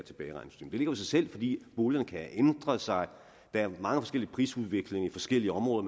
giver jo sig selv fordi boligerne kan have ændret sig og der er meget forskellig prisudvikling i forskellige områder